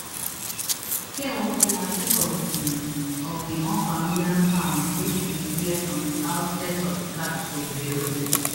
fear wan kill her sake of di of di unfamiliar sounds wey she dey hear from di outskirts of di capital beirut